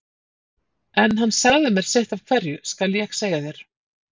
En hann sagði mér sitt af hverju, skal ég segja þér.